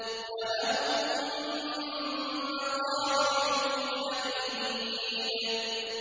وَلَهُم مَّقَامِعُ مِنْ حَدِيدٍ